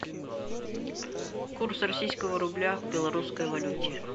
курс российского рубля к белорусской валюте